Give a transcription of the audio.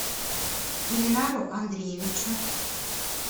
ильнару андреевичу